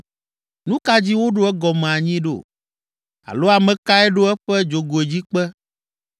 Nu ka dzi woɖo egɔme anyi ɖo? Alo ame kae ɖo eƒe dzogoedzikpe